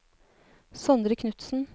Sondre Knudsen